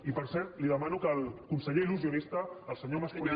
i per cert li demano que el conseller il·lusionista el senyor mascolell